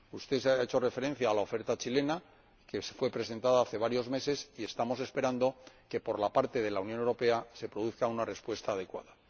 Usted ha hecho referencia a la oferta chilena, que fue presentada hace varios meses, y estamos esperando que por parte de la Unión Europea se produzca una respuesta adecuada.